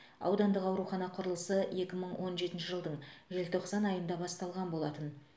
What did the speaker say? аудандық аурухана құрылысы екі мың он жетінші жылдың желтоқсан айында басталған болатын